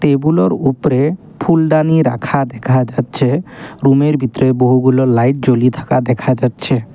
টেবুলোর উপরে ফুলদানি রাখা দেখা যাচ্ছে রুমের ভিতরে বহুগুলো লাইট জ্বলি থাকা দেখা যাচ্ছে।